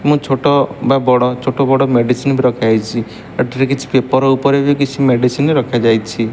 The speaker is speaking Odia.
ମୁ ଛୋଟ ବା ବଡ଼ ଛୋଟ ବଡ଼ ମେଡିସିନ ରଖାହେଇଛି ଏଠାରେ କିଛି ପେପର ଉପରେ ବି କିଛି ମେଡିସିନ ରଖାଯାଇଛି।